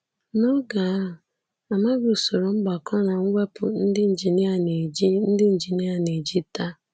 N’oge ahụ, a maghị usoro mgbakọ na mwepụ ndị injinia na-eji ndị injinia na-eji taa.